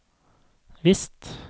visst